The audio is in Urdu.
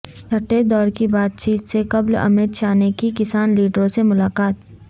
چھٹے دور کی بات چیت سے قبل امت شاہ نے کی کسان لیڈروں سے ملاقات